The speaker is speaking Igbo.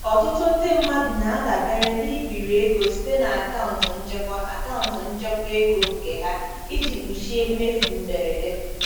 Ọtụtụ ndị mmadụ na-adabere na ibiri ego site na akaụntụ nchekwa akaụntụ nchekwa ego nke ha iji kpuchie mmefu mberede.